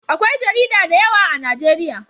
Akwai jarida da yawa a najeriya